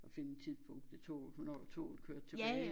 Og finde tidspunkt til toget hvornår toget kørte tilbage